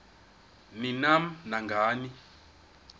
ni nam nangani